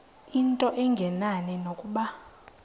into engenani nokuba